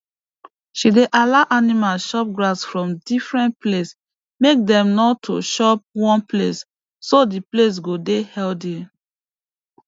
she dey allow animal chop grass from different place make dem no to chop one place so d place go dey healthy